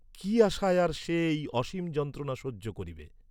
কি আশায় আর সে এই অসীম যন্ত্রণা সহ্য করিবে।